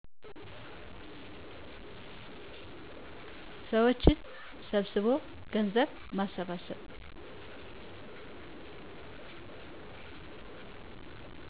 ሰዎችን ሰብስቦ ገንዘብ በማሰባሰብ